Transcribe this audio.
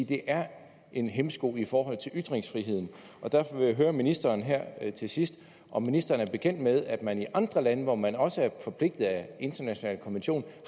det er en hæmsko i forhold til ytringsfriheden derfor vil jeg høre ministeren her til sidst om ministeren er bekendt med at man i andre lande hvor man også er forpligtet af internationale konventioner